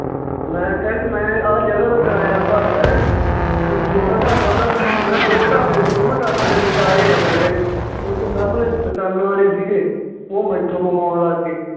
ਮੈਂ ਕਿਹਾ ਵੀ ਮੈਂ ਆਹ ਜਗ੍ਹਾ ਦਾ ਕਰਾਇਆ ਭਰਦਾ ਹੈਂ, ਤੇ ਵੀ ਤੁਹਾਡਾ ਢਾਬਾ ਤਾਂ ਮੈਂ ਦੋ ਢਾਬੇ ਸੀ ਦੋਵਾਂ ਢਾਬਿਆਂ ਦੇ ਵਿਚਾਲੇ ਆਂ ਮੈਂ ਕਿਹਾ ਜੀ, ਓਥੇ ਸਾਮਣੇ ਦੁਕਾਨਾਂ ਵਾਲੇ ਸੀਗੇ ਓਹ ਮੈਥੋਂ ਮੰਗਾਉਣ ਲੱਗ ਗਏ